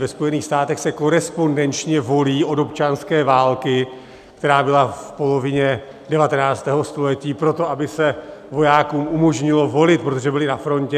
Ve Spojených státech se korespondenčně volí od občanské války, která byla v polovině 19. století, proto, aby se vojákům umožnilo volit, protože byli na frontě.